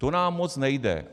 To nám moc nejde.